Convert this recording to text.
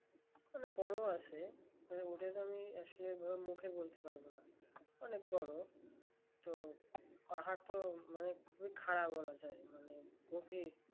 না বড় আছে ওটা তো আমি আসলে মুখে বলতে পারব না অনেক বড় তো পাহাড় তো খুবই খাড়া বলা যায় অনেক গভীর